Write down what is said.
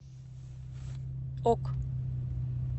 ок